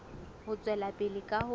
ho tswela pele ka ho